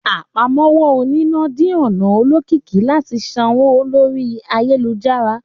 Àpámọ́wọ́ oníná di ọ̀nà olókìkí láti sanwó lórí ayélujára